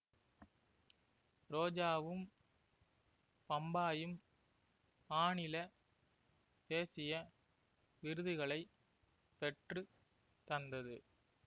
ரோஜாவும் பம்பாயும் மாநில தேசிய விருதுகளை பெற்று தந்தது